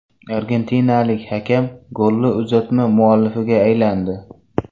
Argentinalik hakam golli uzatma muallifiga aylandi .